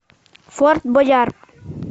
форт боярд